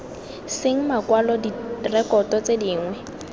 seng makwalo direkoto tse dingwe